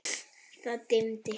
Það dimmdi.